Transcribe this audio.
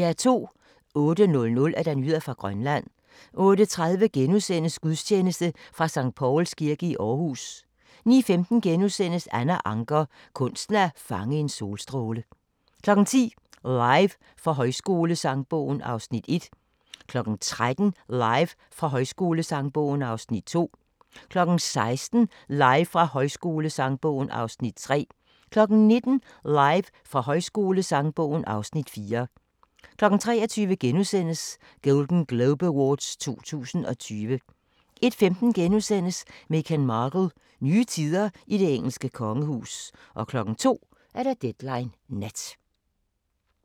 08:00: Nyheder fra Grønland 08:30: Gudstjeneste fra Skt. Pauls Kirke i Aarhus 09:15: Anna Ancher – kunsten at fange en solstråle * 10:00: Live fra Højskolesangbogen (Afs. 1) 13:00: Live fra Højskolesangbogen (Afs. 2) 16:00: Live fra Højskolesangbogen (Afs. 3) 19:00: Live fra Højskolesangbogen (Afs. 4) 23:00: Golden Globe Awards 2020 * 01:15: Meghan Markle – Nye tider i det engelske kongehus * 02:00: Deadline Nat